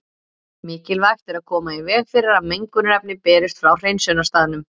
Mikilvægt er að koma í veg fyrir að mengunarefni berist frá hreinsunarstaðnum.